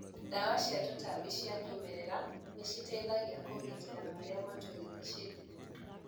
Ndawa cia tũtambi cia kĩmerera nĩciteithagia kũgitĩra marĩa matũrigicĩirie.